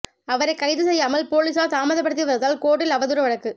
அவரைக் கைது செய்யாமல் போலீஸார் தாமதப்படுத்தி வருவதால் கோர்ட்டில் அவதூறு வழக்கு